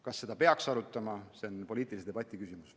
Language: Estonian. Kas seda peaks arutama, see on poliitilise debati küsimus.